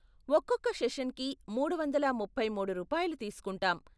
ఒకొక్క సెషన్కి మూడు వందల ముప్పై మూడు రూపాయలు తీస్కుంటాం.